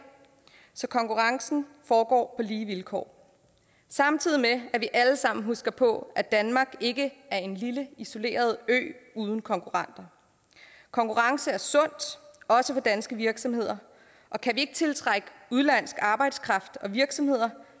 så konkurrencen foregår lige vilkår samtidig med at vi alle sammen skal huske på at danmark ikke er en lille isoleret ø uden konkurrenter konkurrence er sundt også for danske virksomheder og kan vi ikke tiltrække udenlandsk arbejdskraft og virksomheder